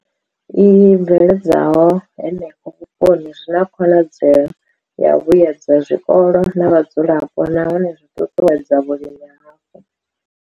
I bveledzwaho henefho vhuponi zwi na khonadzeo ya u vhuedza zwikolo na vhadzulapo nahone zwi ṱuṱuwedza vhulimi hapo.